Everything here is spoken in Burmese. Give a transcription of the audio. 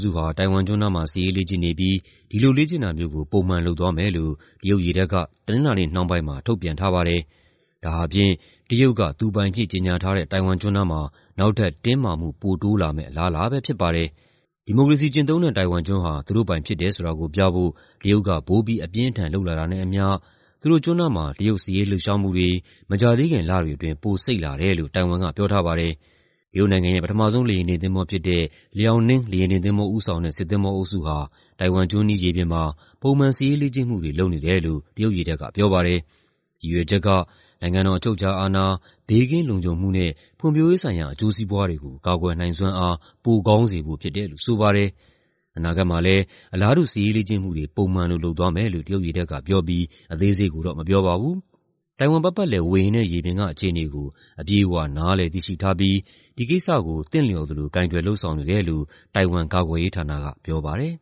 စုဟာ ထိုင်ဝမ်ကျွန်းနားမှာ စစ်ရေးလေ့ကျင့်နေပြီး ဒီလိုလေ့ကျင့်တာမျိုးကို ပုံမှန်လုပ်သွားမယ်လို့ တရုတ်ရေတပ်က တနင်္လာနေ့နှောင်းပိုင်းမှာ ထုတ်ပြန်ထားပါတယ်။ ဒါဟာဖြင့် တရုတ်က သူပိုင်အဖြစ်ကြေညာထားတဲ့ ထိုင်ဝမ်ကျွန်းနားမှာ နောက်ထပ် တင်းမာမှု ပိုတိုးလာမယ့် အလားအလာပဲဖြစ်ပါတယ်။ ဒီမိုကရေစီကျင့်သုံးတဲ့ ထိုင်ဝမ်ကျွန်းဟာ သူတို့ပိုင်ဖြစ်တယ်ဆိုတာကိုပြဖို့ တရုတ်က ပိုပြီး အပြင်းအထန်လုပ်လာတာနဲ့အမ ျှ သူတို့ကျွန်းနားမှာ တရုတ် စစ်ရေးလှုပ်ရှားမှုတွေ မကြာသေးခင်လတွေအတွင်း ပိုစိတ်လာတယ်လို့ ထိုင်ဝမ်က ပြောထားပါတယ်။ တရုတ်နိုင်ငံရဲ့ ပထမဆုံး လေယာဉ်တင်သင်္ဘောဖြစ်တဲ့ Liaoning လေယာဉ်တင်သင်္ဘောဦးဆောင်တဲ့ စစ်သင်္ဘောအုပ်ဟာ ထိုင်ဝမ်ကျွန်းအနီး ရေပြင်မှာ ပုံမှန်စစ်ရေးလေ့ကျင့်မှုတွေ လုပ်နေတယ်လို့ တရုတ်ရေတပ်က ပြောပါတယ်။ ရည်ရွယ်ချက်က "နိုင်ငံတော် အချုပ်အခြာအာဏာ၊ ဘေးကင်းလုံခြုံမှုနဲ့ ဖွံ့ဖြိုးရေးဆိုင်ရာ အကျိုးစီးပွားတွေကို ကာကွယ်နိုင်စွမ်းအား ပိုကောင်းစေဖို့ဖြစ်တယ်။" လို့ဆိုပါတယ်။ "အနာဂတ်မှာလည်း အလားတူ စစ်ရေးလေ့ကျင့်မှုတွေ ပုံမှန်လို လုပ်သွားမယ်။" လို့ တရုတ်ရေတပ်ကပြောပြီး အသေးစိတ်ကိုတော့ မပြောပါဘူး။ "ထိုင်ဝမ်ပတ်ပတ်လည် ဝေဟင်နဲ့ရေပြင်က အခြေအနေကို အပြည့်အဝ နားလည်သိရှိထားပြီး ဒီကိစ္စကို သင့်လျော်သလို ကိုင်တွယ် လုပ်ဆောင်နေတယ်။" လို့ ထိုင်ဝမ် ကာကွယ်ရေးဌာနက ပြောပါတယ်